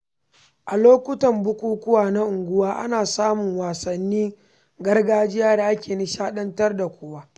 A lokutan bukukuwa na unguwa, ana samun wasannin gargajiya da ke nishaɗantar da kowa.